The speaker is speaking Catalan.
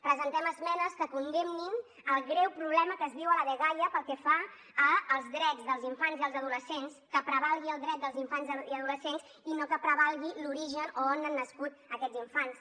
presentem esmenes que condemnin el greu problema que es viu a la dgaia pel que fa als drets dels infants i els adolescents que prevalgui el dret dels infants i adolescents i no que prevalgui l’origen o on han nascut aquests infants